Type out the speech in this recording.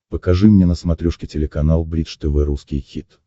покажи мне на смотрешке телеканал бридж тв русский хит